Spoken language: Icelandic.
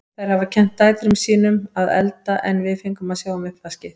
Þær hafa kennt dætrum sín um að elda en við fengum að sjá um uppvaskið.